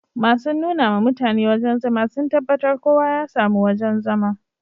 Masun nuna ma mutane wajen zama sun tabatar kowa ya samu wojen zama